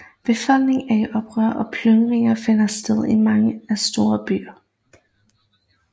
Befolkningen er i oprør og plyndringer finder sted i mange store byer